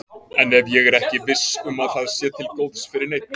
En ef ég er ekki viss um að það sé til góðs fyrir neinn?